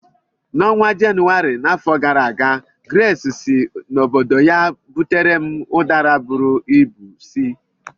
N'ọnwa Jenụwarị n'afọ gara aga, Grace si n'obodo ya butere m Udara bụrụ ịbụ si.